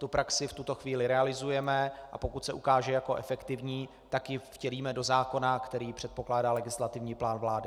Tu praxi v tuto chvíli realizujeme, a pokud se ukáže jako efektivní, tak ji vtělíme do zákona, který předpokládá legislativní plán vlády.